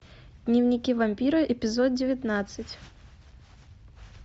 дневники вампира эпизод девятнадцать